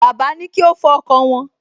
Bàbá ní kí ó fọ ọkọ̀ wọn